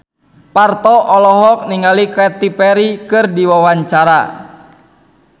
Parto olohok ningali Katy Perry keur diwawancara